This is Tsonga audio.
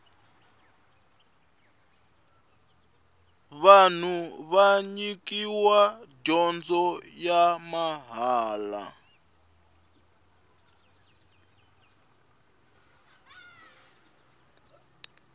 vanhu va nyikiwa dyondzo ya mahala